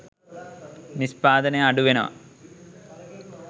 නිෂ්පාදනය අඩු වෙනවා.